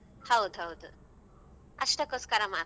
ಹೌದೌದು ಅಷ್ಟಕ್ಕೋಸ್ಕರ ಮಾತ್ರ.